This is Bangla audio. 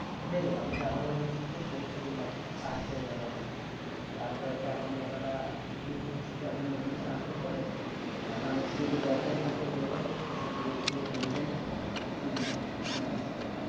হয়ে গেলাম আমি japan university তে পরীক্ষা দিলাম pass হয়ে গেলো তারপরে জাপানিরা নিয়ম হচ্ছে জাপানে কোনো কিছু আসার পরে বাংলাদেশে যদি government চাকরি করে থাকে সেই চাকরি resign দিতে হবে তিন মাস আগে জাপানে যাবার আসে